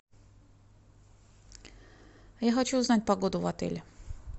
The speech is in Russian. я хочу узнать погоду в отеле